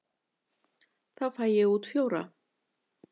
Þá fæ ég út fjóra.